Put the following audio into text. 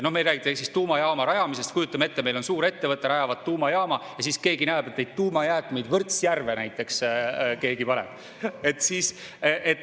No ma ei räägi tuumajaama rajamisest, kujutame ette, et meil on suurettevõte, nad rajavad tuumajaama, ja siis keegi näeb, et keegi paneb neid tuumajäätmeid Võrtsjärve näiteks.